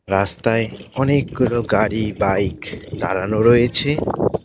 রাস্তায় অনেকগুলো গাড়ি বাইক দাড়ানো রয়েছে।